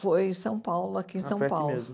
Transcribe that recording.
Foi em São Paulo, aqui em São Paulo. Ah, foi aqui mesmo.